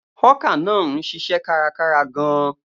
Hawker náà ń ṣiṣẹ́ kárakára gan-an.